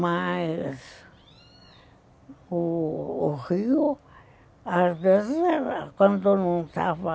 Mas o rio, às vezes, quando todo mundo estava